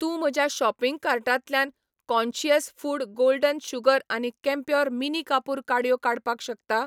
तूं म्हज्या शॉपिंग कार्टांतल्यान काँशियस फूड गोल्डन शुगर आनी कैम्प्योर मिनी कापूर काडयो काडपाक शकता?